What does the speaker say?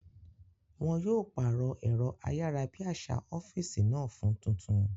Wọn yóò pàrọ̀ ẹ̀rọ ayárabíàṣá ọ́físì náà fún tuntun